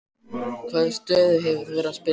Hvaða stöðu hefur þú verið að spila?